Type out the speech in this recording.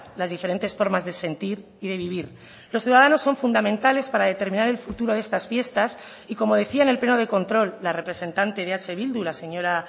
las diferentes formas de sentir y de vivir los ciudadanos son fundamentales para determinar el futuro de estas fiestas y como decía en el pleno de control la representante de eh bildu la señora